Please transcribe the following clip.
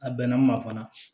A bɛnna n ma fana